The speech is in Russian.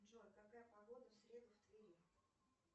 джой какая погода в среду в твери